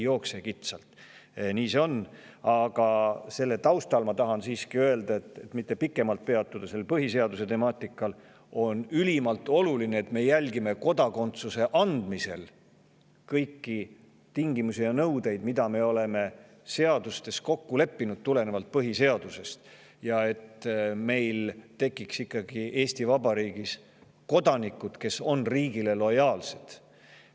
Aga selle taustal tahan ma siiski öelda – et mitte pikemalt põhiseaduse temaatikal peatuda –, et on ülimalt oluline, et me järgiksime kodakondsuse andmisel kõiki tingimusi ja nõudeid, mida me oleme seadustes kokku leppinud ja mis tulenevad põhiseadusest, ning et meil tekiks Eesti Vabariigis kodanikud, kes on riigile lojaalsed.